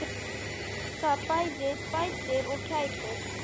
Það bæði bætir og kætir.